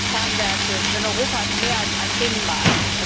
Das sind unsere Kernwerte, denn Europa ist mehr als ein Binnenmarkt.